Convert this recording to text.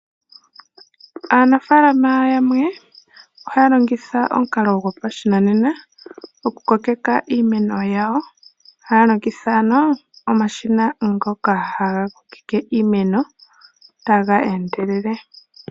Aanafaalama yamwe ohaya longitha omukalo gopashinanena oku kokeka iimeno yawo, haya longitha ano omashina ngoka goku kokeka iimeno taga endelele.